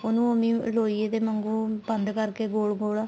ਉਹਨੂੰ ਉਵੇ ਈ ਲੋਈਏ ਦੇ ਵਾਂਗੂ ਬੰਦ ਕਰਕੇ ਗੋਲ ਗੋਲ